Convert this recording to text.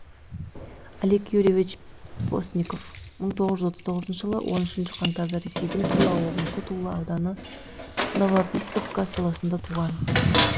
олег юрьевич постников мың тоғыз жүз отыз тоғызыншы жылы он үшінші қаңтарда ресейдің тула облысы тула ауданы новобиссовка селосында туған